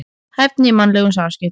Hæfni í mannlegum samskiptum.